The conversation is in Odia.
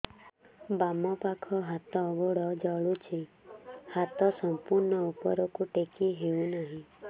ବାମପାଖ ହାତ ଗୋଡ଼ ଜଳୁଛି ହାତ ସଂପୂର୍ଣ୍ଣ ଉପରକୁ ଟେକି ହେଉନାହିଁ